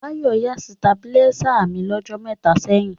Báyọ̀ yá stàbúláisè mí lọ́jọ́ mẹta ṣẹ̀yìn.